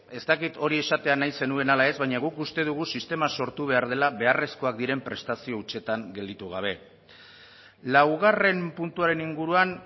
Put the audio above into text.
ez dakit hori esatea nahi zenuen ala ez baina guk uste dugu sistema sortu behar dela beharrezkoak diren prestazio hutsetan gelditu gabe laugarren puntuaren inguruan